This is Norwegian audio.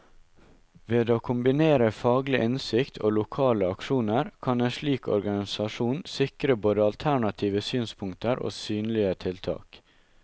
Ved å kombinere faglig innsikt og lokale aksjoner, kan en slik organisasjon sikre både alternative synspunkter og synlige tiltak.